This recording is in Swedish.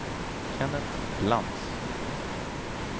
Kenneth Lantz